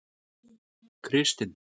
Kristin